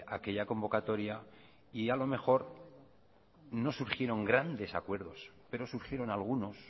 aquella convocatoria y a lo mejor no surgieron grandes acuerdos pero surgieron algunos